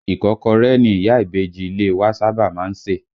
Ìkọ́kọrẹ́ ni ìyá ìbejì ilé e wa sábà máa ń sè